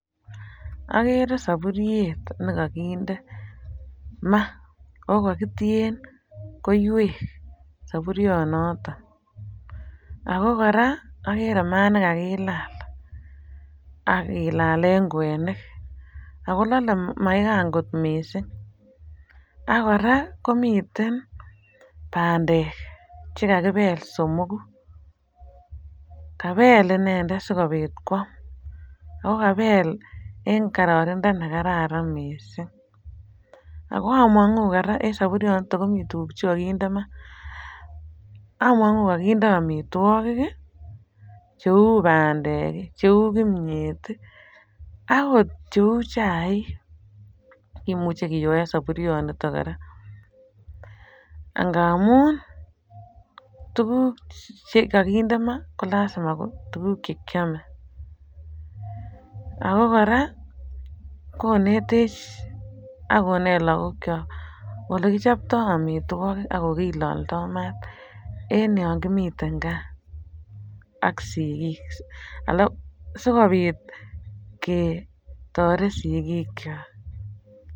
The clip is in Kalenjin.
Agere sapuriet ne kakinde ma okatie koiwek sapurionoto ago kora agere mat ne kagilal ak kilale kwenik ago lale maigan kot mising ak kora komin bandek che kakibel somoku. Kabel inendet sikopit kwam okabel eng kororindo nekararan mising. Ago amangu kora en sapurionoto komi tuguk che kakinde ma, amangu kakinde amitwogik cheu bandek, cheu kimyet agot cheu chaik kimuche kiyoen saburionito kora angamun tuguk che kakinde ma ko lasima ko tuguk che kiame ago kora konetech ak konet lagokyok ole kichapto amitwogik ak ole kilaldo mat en yon kimiten kaa ak sigik sigopit kotoret sigikyok.